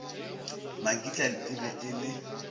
makitla e be e le